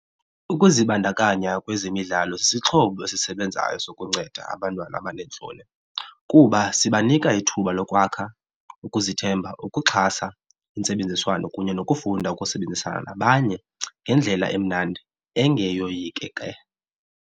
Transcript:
Ukuzibandakanya kwezemidlalo sisixhobo esisebenzayo sokunceda abantwana abaneentloni kuba sibanika ithuba lokwakha ukuzithemba, ukuxhasa intsebenziswano kunye nokufunda ukusebenzisana nabanye ngendlela emnandi engeyoyikeke.